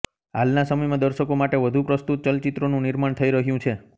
હાલના સમયમાં દર્શકો માટે વધુ પ્રસ્તુત ચલચિત્રોનું નિર્માણ થઈ રહ્યું છે